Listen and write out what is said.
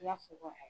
I b'a fɔ ko